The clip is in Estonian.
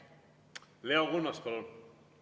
Leo Kunnas, palun!